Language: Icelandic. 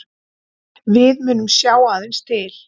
Við munum sjá aðeins til